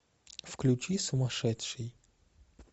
включи сумашедший